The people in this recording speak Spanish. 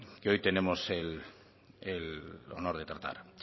que hoy tenemos el honor de tratar